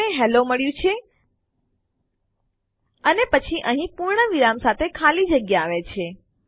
આપણને હેલ્લો મળ્યું છે અને પછી અહીં પૂર્ણવિરામ સાથે ખાલી જગ્યા આવે છે